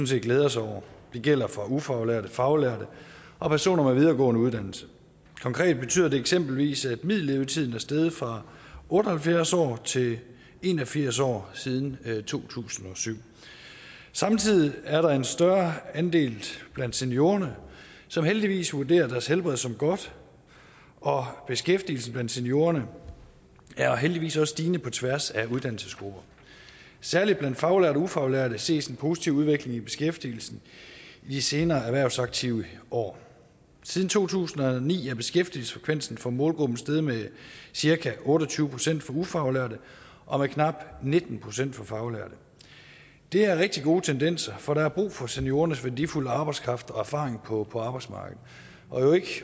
set glæde os over det gælder for ufaglærte faglærte og personer med en videregående uddannelse konkret betyder det eksempelvis at middellevetiden er steget fra otte og halvfjerds år til en og firs år siden to tusind og syv samtidig er der en større andel blandt seniorerne som heldigvis vurderer deres helbred som godt og beskæftigelsen blandt seniorerne er heldigvis også stigende på tværs af uddannelsesgrupper særlig blandt faglærte og ufaglærte ses en positiv udvikling i beskæftigelsen i de senere erhvervsaktive år siden to tusind og ni er beskæftigelsesfrekvensen for målgruppen steget med cirka otte og tyve procent for ufaglærte og med knap nitten procent for faglærte det er rigtig gode tendenser for der er brug for seniorernes værdifulde arbejdskraft og erfaring på på arbejdsmarkedet ikke